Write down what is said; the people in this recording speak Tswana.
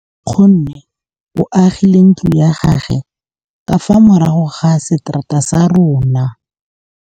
Nkgonne o agile ntlo ya gagwe ka fa morago ga seterata sa rona.